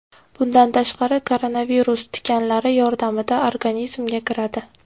Bundan tashqari, koronavirus tikanlari yordamida organizmga kiradi.